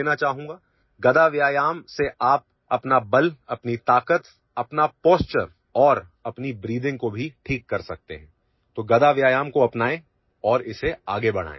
With mace exercise you can improve your strength, power, posture and even your breathing, so adopt mace exercise and take it forward